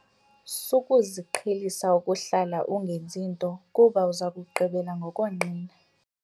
Sukuziqhelisa ukuhlala ungenzi nto kuba uza kugqibela ngokonqena.